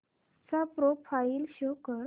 चा profile show कर